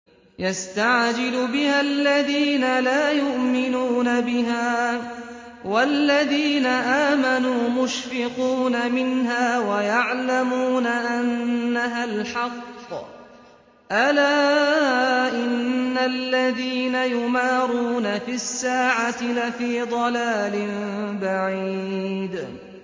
يَسْتَعْجِلُ بِهَا الَّذِينَ لَا يُؤْمِنُونَ بِهَا ۖ وَالَّذِينَ آمَنُوا مُشْفِقُونَ مِنْهَا وَيَعْلَمُونَ أَنَّهَا الْحَقُّ ۗ أَلَا إِنَّ الَّذِينَ يُمَارُونَ فِي السَّاعَةِ لَفِي ضَلَالٍ بَعِيدٍ